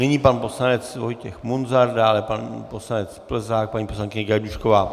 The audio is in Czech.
Nyní pan poslanec Vojtěch Munzar, dále pan poslanec Plzák, paní poslankyně Gajdůšková.